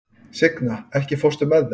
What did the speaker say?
Signa, ekki fórstu með þeim?